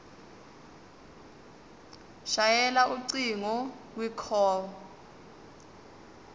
shayela ucingo kwicall